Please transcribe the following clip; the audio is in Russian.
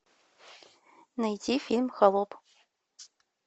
найти фильм холоп